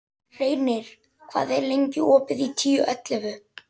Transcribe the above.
Reynir, hvað er lengi opið í Tíu ellefu?